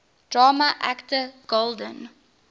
drama actor golden